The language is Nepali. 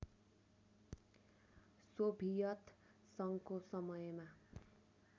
सोभियत सङ्घको समयमा